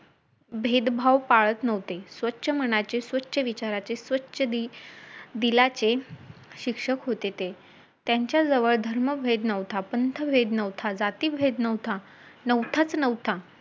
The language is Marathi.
आपल्या मुलाला जवळ घेऊन त्यांनी मला एकदम निरागसपणे सांगितले की , बाळा